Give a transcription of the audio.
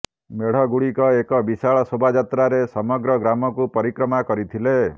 ମେଢ଼ଗୁଡିକ ଏକ ବିଶାଳ ଶୋଭାଯାତ୍ରାରେ ସମଗ୍ର ଗ୍ରାମକୁ ପରିକ୍ରମା କରିଥିଲେ